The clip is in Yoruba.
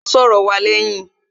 Lọlá máa n sòrò wa léyìn